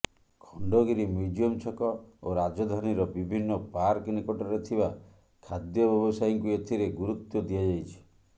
Khandagiri museum ଛକ ଓ ରାଜଧାନୀର ବିଭିନ୍ନ ପାର୍କ ନିକଟରେ ଥିବା ଖାଦ୍ୟ ବ୍ୟବସାୟୀଙ୍କୁ ଏଥିରେ ଗୁରୁତ୍ୱ ଦିଆଯାଇଛି